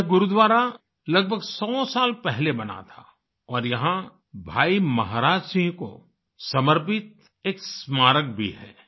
यह गुरुद्वारा लगभग सौ साल पहले बना था और यहाँ भाई महाराज सिंह को समर्पित एक स्मारक भी है